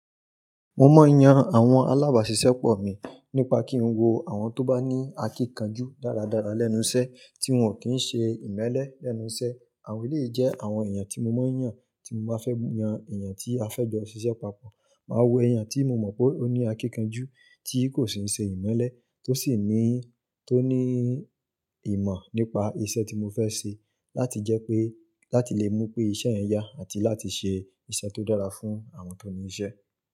Mo máa ń yan àwọn alábàáṣiṣẹ́ pọ̀ mi nípa kí n wo àwọn tó bá ní akíkanjú dáradára lẹ́nu iṣẹ́ tí wọ́n ò kí ń ṣe ìmẹ́lẹ́ lẹ́nu iṣẹ́. Àwọn yìí jẹ́ àwọn èèyàn tí mo máa ń yàn tí mo bá fẹ́ yan èèyàn tí a fẹ́ jọ ṣiṣẹ́ papọ̀. Máa wo èèyàn tí mo mọ̀ pé ó ní akíkanjú, tí kò sì ń ṣe ìmẹ́lẹ́, tó sì ní, tó ní ìmọ̀ nípa iṣẹ́ tí mo fẹ́ ṣe láti jẹ́ pé, láti lè mú pé iṣẹ́ yẹn yá àti láti ṣe iṣẹ́ tó dára fún àwọn tó ní iṣẹ́.